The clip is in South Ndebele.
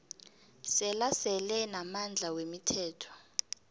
selasele namandla wemithetho